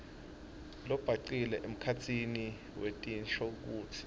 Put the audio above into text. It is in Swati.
lobhacile emkhatsini wetinshokutsi